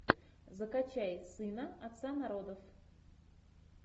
закачай сына отца народов